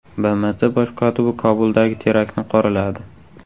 BMT bosh kotibi Kobuldagi teraktni qoraladi.